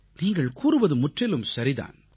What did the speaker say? நீங்கள் கூறுவது முற்றிலும் சரி தான்